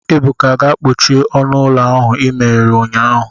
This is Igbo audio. Ebuka, gaa kpochie ọnụ ụlọ ahụ i meghere ụnyahụ